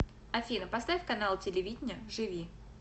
афина поставь канал телевидения живи